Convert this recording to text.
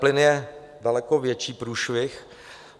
Plyn je daleko větší průšvih.